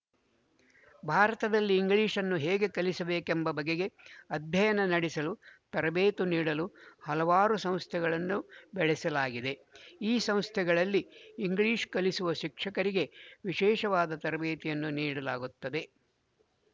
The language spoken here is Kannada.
ಭಾರತದಲ್ಲಿ ಇಂಗ್ಲಿಶ್‌ನ್ನು ಹೇಗೆ ಕಲಿಸಬೇಕೆಂಬ ಬಗೆಗೆ ಅಧ್ಯಯನ ನಡೆಸಲು ತರಬೇತು ನೀಡಲು ಹಲವಾರು ಸಂಸ್ಥೆಗಳನ್ನು ಬೆಳೆಸಲಾಗಿದೆ ಈ ಸಂಸ್ಥೆಗಳಲ್ಲಿ ಇಂಗ್ಲಿಶ ಕಲಿಸುವ ಶಿಕ್ಷಕರಿಗೆ ವಿಶೇಷವಾದ ತರಬೇತಿಯನ್ನು ನೀಡಲಾಗುತ್ತದೆ